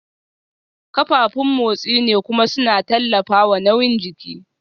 Kafafun motsi ne kuma suna tallafawa nauyin jiki